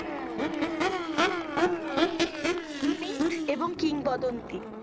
মিক এবং কিংবদন্তী।